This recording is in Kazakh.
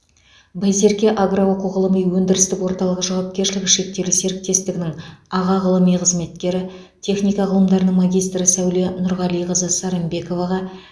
байсерке агро оқу ғылыми өндірістік орталығы жауапкершілігі шектеулі серіктестігінің аға ғылыми қызметкері техника ғылымдарының магистрі сәуле нұрғалиқызы сарымбековаға